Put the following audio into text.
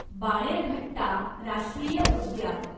बाणेरघट्टा राष्ट्रीय उद्यान